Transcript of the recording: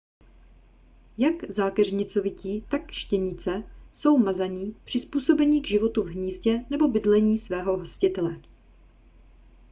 jak zákeřnicovití tak štěnice jsou mazaní přizpůsobení k životu v hnízdě nebo bydlení svého hostitele